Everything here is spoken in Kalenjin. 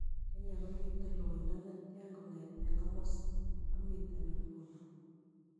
Kenya komiten loindo netian kong'eten komosi amiten nguno